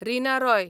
Rina Roy